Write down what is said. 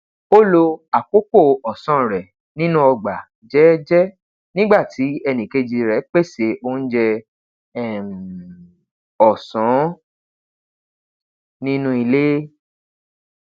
o lo awọn akoko ọsan rẹ ninu ọgba jẹẹjẹ nigba ti ẹnikeji rẹ pese ounjẹ um ọsan ninu ile